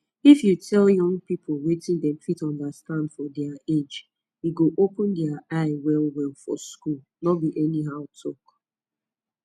if you dey tell young people wetin dem fit understand for their age e go open their eye wellwell for school no be anyhow talk